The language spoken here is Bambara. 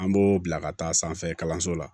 An b'o bila ka taa sanfɛ kalanso la